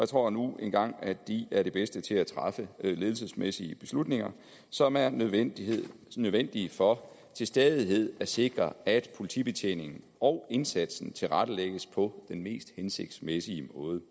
tror nu engang at de er de bedste til at træffe ledelsesmæssige beslutninger som er nødvendige nødvendige for til stadighed at sikre at politibetjeningen og indsatsen tilrettelægges på den mest hensigtsmæssige måde